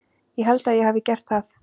Ég held að ég hafi gert það.